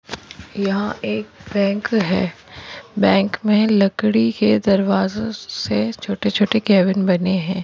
यहाँ एक बैंक है बैंक में लकड़ी के दरवाजों से छोटे छोटे कैबिन बने हैं।